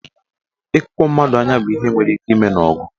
Ịkụkpọ mmadụ anya bụ ihe nwere ike ime n'ọgụ.